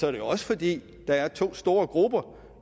er jo også fordi der er to store grupper